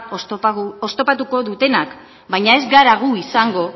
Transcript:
oztopatuko dutenak baina ez gara gu izango